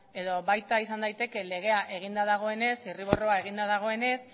edo baita izan daiteke legea eginda dagoenez zirriborroa eginda dagoenez